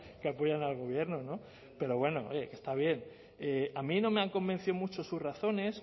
que apoyan al gobierno pero bueno oye que está bien a mí no me han convencido mucho sus razones